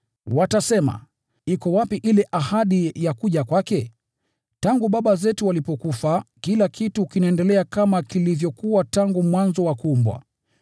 Watasema, “Iko wapi ile ahadi ya kuja kwake? Tangu baba zetu walipofariki, kila kitu kinaendelea kama kilivyokuwa tangu mwanzo wa kuumbwa.”